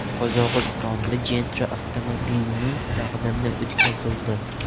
Qozog‘istonda Gentra avtomobilining taqdimoti o‘tkazildi.